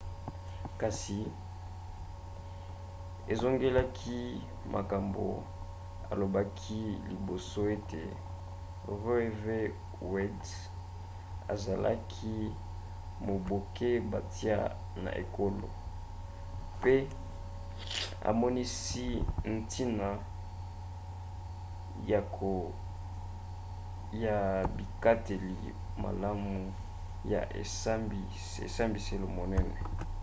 kasi azongelaki makambo alobaki liboso ete roe v. wade ezalaki mobeko batia na ekolo pe amonisi ntina ya bikateli malamu ya esambiselo monene